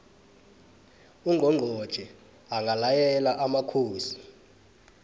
ungqongqotjhe angalayela amakhosi